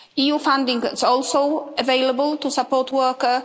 EU funding is also available to support workers.